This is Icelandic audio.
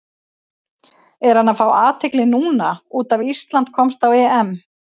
Er hann að fá athygli núna út af Ísland komst á EM?